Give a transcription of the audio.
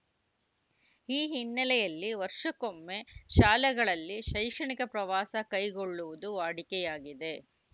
ಈ ಹಿನ್ನಲೆಯಲ್ಲಿ ವರ್ಷಕ್ಕೊಮ್ಮೆ ಶಾಲೆಗಳಲ್ಲಿ ಶೈಕ್ಷಣಿಕ ಪ್ರವಾಸ ಕೈಗೊಳ್ಳುವುದು ವಾಡಿಕೆಯಾಗಿದೆ